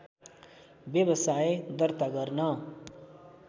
व्यवसाय दर्ता गर्न